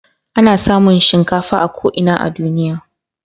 Ana samun shinkafa a ko ina a duniya.